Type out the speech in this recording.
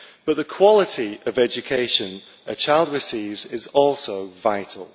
But the quality of education a child receives is also vital.